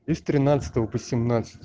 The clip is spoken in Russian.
и с тринадцатого по семнадцатое